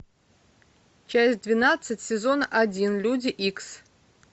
часть двенадцать сезон один люди икс